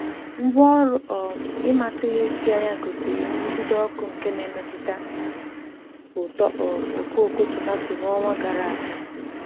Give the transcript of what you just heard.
Ngwaọrụ um ịmata ihe si anya gosiri nrụgide ọkụ nke na-emetụta uto um okooko tomatọ n'ọnwa gara aga.